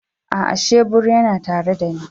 A'a, shebur yana tare da ni.